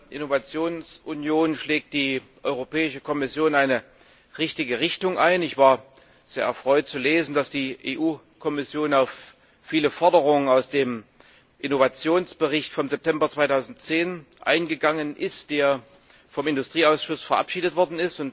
Mit der Innovationsunion schlägt die Europäische Kommission eine richtige Richtung ein. Ich war sehr erfreut zu lesen, dass die EU Kommission auf viele Forderungen aus dem Innovationsbericht vom September 2010 eingegangen ist, der vom Ausschuss für Industrie, Forschung und Energie verabschiedet wurde.